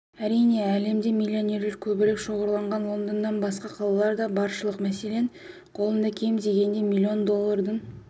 әрине әлемде миллионерлер көбірек шоғырланған лондоннан басқа қалалар да баршылық мәселен қолында кем дегенде миллион доллардың